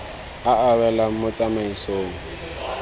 a a welang mo tsamaisong